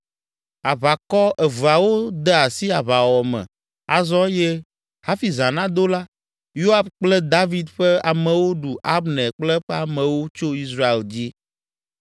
Aʋakɔ eveawo de asi aʋawɔwɔ me azɔ eye hafi zã nado la, Yoab kple David ƒe amewo ɖu Abner kple eƒe amewo tso Israel dzi.